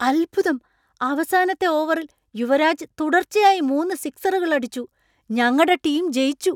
അത്ഭുതം! അവസാനത്തെ ഓവറിൽ യുവരാജ് തുടർച്ചയായി മൂന്ന് സിക്സറുകൾ അടിച്ചു, ഞങ്ങടെ ടീം ജയിച്ചു.